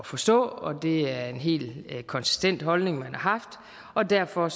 forstå det er en helt konsistent holdning man har haft og derfor